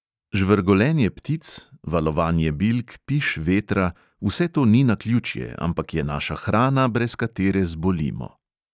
Žvrgolenje ptic, valovanje bilk, piš vetra, vse to ni naključje, ampak je naša hrana, brez katere zbolimo.